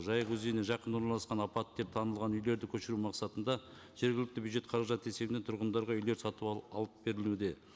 жайық өзеніне жақын орналасқан апатты деп танылған үйлерді көшіру мақсатында жергілікті бюджет қаражат есебінен тұрғындарға үйлер сатып алып берілуде